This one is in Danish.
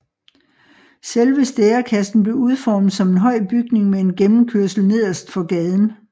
Selve Stærekassen blev udformet som en høj bygning med en gennemkørsel nederst for gaden